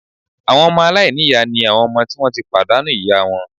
Àwọn ọmọ aláìníyàá ni àwọn ọmọ tí wọ́n ti pàdánù ìyá wọn